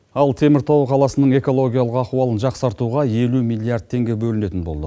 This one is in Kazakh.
ал теміртау қаласының экологиялық ахуалын жақсартуға елу миллиард теңге бөлінетін болды